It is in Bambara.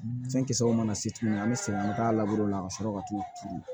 Fɛn kisɛw mana se tuguni an be segin an be taa la ka sɔrɔ ka t'u turu